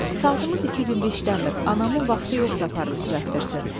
Saatımız iki gündür işləmir, anamın vaxtı yoxdur aparıb düzəltdirsin.